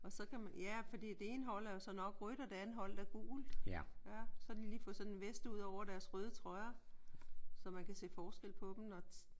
Og så kan man ja fordi det ene hold er jo så nok rødt og det andet hold er gult. Så har de lige fået sådan en vest udover deres røde trøjer så man kan se forskel på dem nok